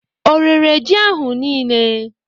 O rere ji ahụ niile?